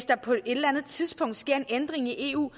der på et tidspunkt sker en ændring i eu